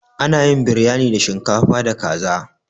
Ana yin Biryani da shinkafa da kaza.